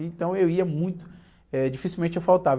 Então eu ia muito, eh, dificilmente eu faltava.